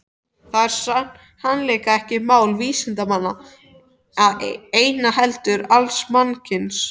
Þetta er sannarlega ekki mál vísindamanna einna heldur alls mannkyns.